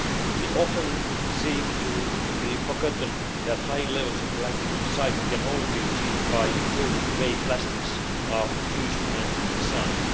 It often seems to be forgotten that high levels of plastic recycling can only be achieved by improving the way plastics are produced and designed.